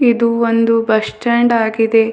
ಇದು ಒಂದು bus stand ಆಗಿದೆ.